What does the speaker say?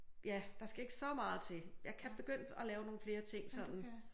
Ja der skal ikke så meget til jeg kan begynde at lave nogle flere ting sådan